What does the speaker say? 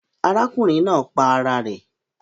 Arákùnrin naa pa ara rè